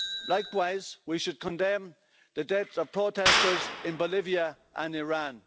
Likewise, we should condemn the death of protesters in Bolivia and Iran.